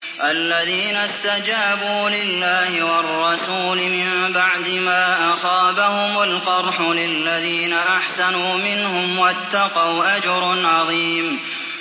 الَّذِينَ اسْتَجَابُوا لِلَّهِ وَالرَّسُولِ مِن بَعْدِ مَا أَصَابَهُمُ الْقَرْحُ ۚ لِلَّذِينَ أَحْسَنُوا مِنْهُمْ وَاتَّقَوْا أَجْرٌ عَظِيمٌ